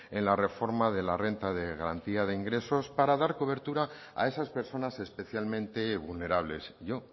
en la reforma de la renta de garantía de ingresos para dar cobertura a esas personas especialmente vulnerables yo